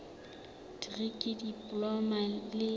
dikri diploma ya dilemo tse